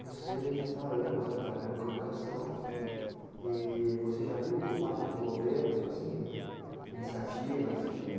Você já está há anos, né, trabalhando com educação e você já viu por parte do governos iniciativas que?